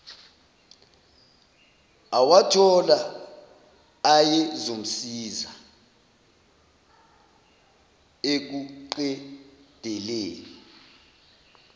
awathola ayezomsiza ekuqedeleni